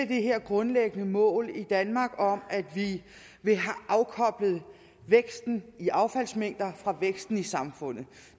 det her grundlæggende mål i danmark om at vi vil have afkoblet væksten i affaldsmængder fra væksten i samfundet